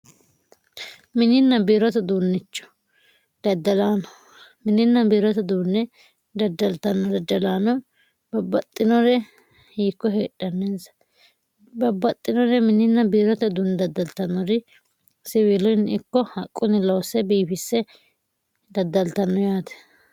mininna biirota duunnichu daddalaano mininna biirota duunne dadjaltanno dadjalaano babbaxxinore hiikko heedhanneensa babbaxxinore mininna biirota duunni daddaltannori siwiilonni ikko haqqunni loosse biifisse daddaltanno yaate